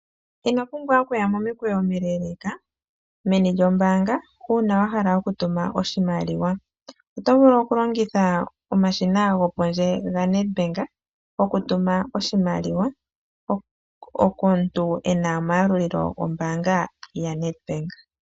Ino pumbwa okuya momikweyo omileeleeka meni lyoombanga, uuna wa hala okutuma oshimaliwa. Oto vulu okulongitha omashina gopondje gaNedbank okutuma oshimaliwa komuntu e na omayalulilo gombaanga gaNedbank.